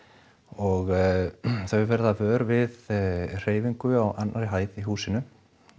og þau verða vör við hreyfingu á annarri hæð í húsinu